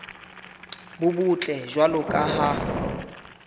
bo botle jwalo ka ha